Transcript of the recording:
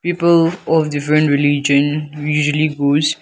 people of different religion we usually goes.